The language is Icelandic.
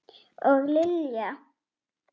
Og Lilja!